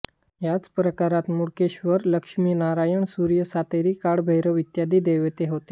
याच प्राकारात मूळकेश्वर लक्ष्मीनारायण सूर्य सातेरी काळभैरव इत्यादी दैवते आहेत